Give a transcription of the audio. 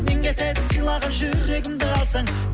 нең кетеді сыйлаған жүрегімді алсаң